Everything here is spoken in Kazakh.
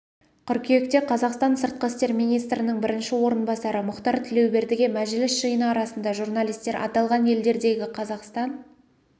қыркүйекте қазақстан сыртқы істер министрінің бірінші орынбасары мұхтар тілеубердіге мәжіліс жиыны арасында журналистер аталған елдердегі қазақстан